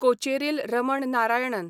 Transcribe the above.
Kocheril Raman Narayanan